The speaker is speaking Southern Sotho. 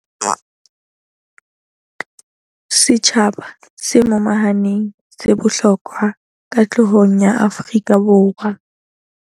Setjhaba se momahaneng se bohlokwa katlehong ya Afrika Borwa.